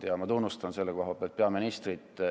Ja ma tunnustan selle eest peaministrit.